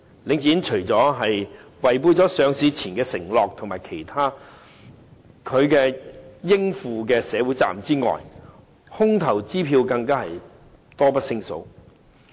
領展除了違背上市前的承諾及其應負的社會責任之外，空頭支票更是多不勝數。